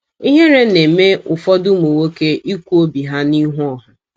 Ihere na - eme ụfọdụ ụmụ nwoke ikwu obi ha n’ihu ọha.